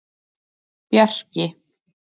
Bjarki